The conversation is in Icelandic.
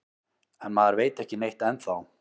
En maður veit ekki neitt ennþá